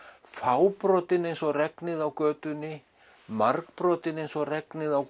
fábrotin eins og regnið á götunni margbrotin eins og regnið á